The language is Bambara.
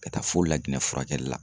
Ka taa fo laginɛ la.